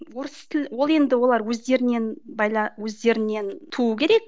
орыс тіл ол енді олар өздерінен өздерінен туу керек